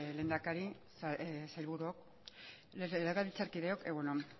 lehendakari sailburu legebiltzarkideok egun on